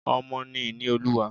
Ọmọ ni ìní olúwa.